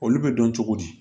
Olu bɛ dɔn cogo di